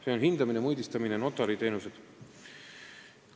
See on siis hindamine, mõõdistamine, notariteenused.